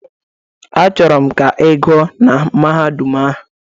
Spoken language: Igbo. Achọrọ m ka ị gụọ na Mahadum ahụ!